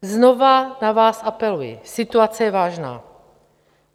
Znovu na vás apeluji, situace je vážná.